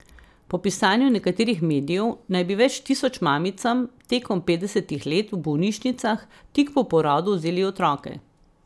Po pisanju nekaterih medijev naj bi več tisoč mamicam tekom petdesetih let v bolnišnicah tik po porodu vzeli otroke.